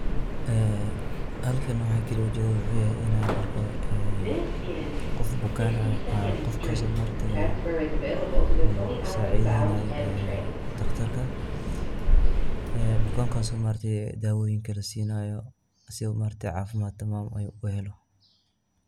halkam waxa kalii aaan u jedo ayaa eeh inaan argoo qoof bukaan aaah qofkaas oo sacidenayo doctorka bukankaas oo dawoyiiin la siinayo si u cafimaat tamaam aah uu u helo